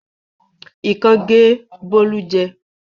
Ikán gé Bólú jẹ.